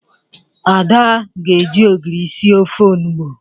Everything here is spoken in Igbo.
Ada ga-eji ogiri sir ofe onụgbọ